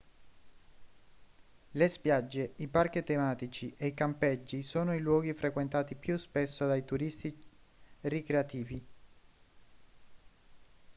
le spiagge i parchi tematici e i campeggi sono i luoghi frequentati più spesso dai turisti ricreativi